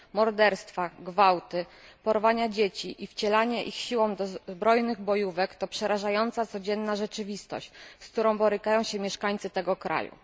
Morderstwa, gwałty, porwania dzieci i wcielanie ich siłą do zbrojnych bojówek to przerażająca codzienna rzeczywistość, z którą borykają się mieszkańcy tego kraju.